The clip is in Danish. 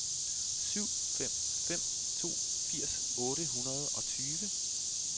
syv fem fem to firs otte hundrede og tyve